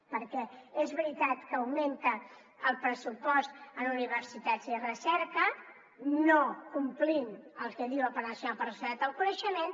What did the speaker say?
perquè és veritat que augmenta el pressupost en universitats i recerca no complint el que diu el pla nacional per a la societat del coneixement